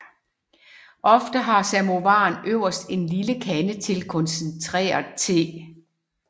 Ofte har samovaren øverst en lille kande til koncentreret te